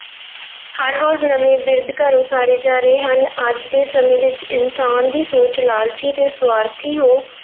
ਹਰ ਰੋਜ਼ ਨਵੇਂ ਬਿਰਧ ਘਰ ਉਸਾਰੇ ਜਾ ਰਹੇ ਹਨ, ਅੱਜ ਦੇ ਸਮੇਂ ਵਿੱਚ ਇਨਸਾਨ ਦੀ ਸੋਚ ਲਾਲਚੀ ਤੇ ਸਵਾਰਥੀ ਹੋ